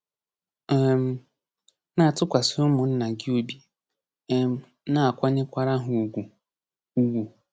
um *Na-atụkwasị ụmụnna gị obi, um na-akwanyekwara ha ugwu. ugwu.